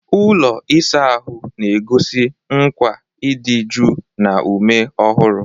Ụlọ ịsa ahụ na-egosi nkwa ịdị jụụ na ume ọhụrụ.